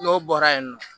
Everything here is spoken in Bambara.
N'o bɔra yen nɔ